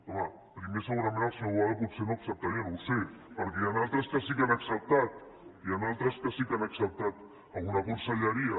home primer segurament el senyor boada potser no acceptaria no ho sé perquè n’hi han d’altres que sí que han acceptat n’hi han d’altres que sí que han acceptat alguna conselleria